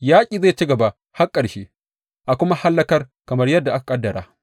Yaƙi zai ci gaba har ƙarshe, a kuma hallakar kamar yadda aka ƙaddara.